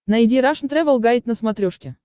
найди рашн тревел гайд на смотрешке